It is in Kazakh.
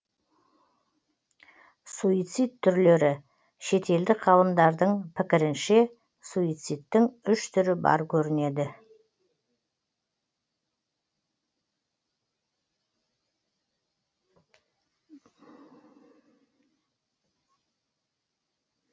суицид түрлері шетелдік ғалымдардың пікірінше суицидтің үш түрі бар көрінеді